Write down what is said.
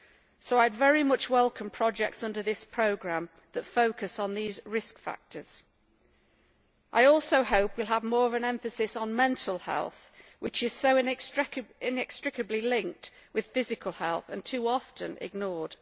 I therefore very much welcome projects under this programme that focus on these risk factors. I also hope we will have more of an emphasis on mental health, which is so inextricably linked with physical health and too often ignored.